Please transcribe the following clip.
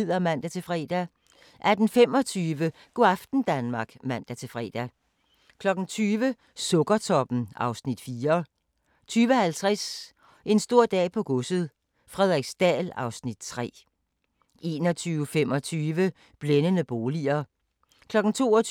00:10: The Rainmaker 02:25: Cold Case (127:156) 03:10: Cold Case (126:156)*